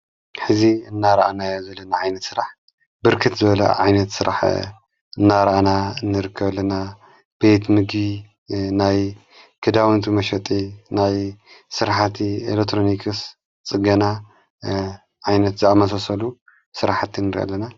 ሕዚ እናረኣናይ ዘለና ዓይነት ሥራሕ ብርክት ዘለ ዓይነት ሥራሕ እናረኣና እንርከለና ቤትሚጊ ናይ ክዳውንቱ መሸጢ ናይ ሥርሓቲ ኤለትሮኒክስ ጽና ዓይነት ዝኣመሰሰሉ ሥራሓቲ ንርኢ ኣለና።